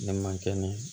Ne ma kɛnɛ